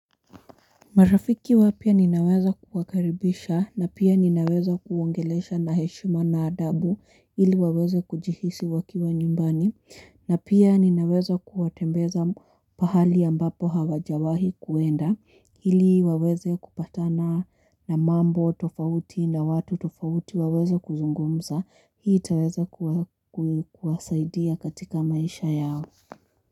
Marafiki wapya ninaweza kuwakaribisha na pia ninaweza kuwaongelesha na heshima na adabu ili waweze kujihisi wakiwa nyumbani na pia ninaweza kuwatembeza pahali ambapo hawajawahi kuenda ili waweze kupatana na mambo tofauti na watu tofauti waweze kuzungumza hii itaweza kuwa kuwasaidia katika maisha yao.